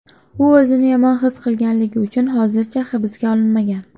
U o‘zini yomon his qilganligi uchun hozircha hibsga olinmagan.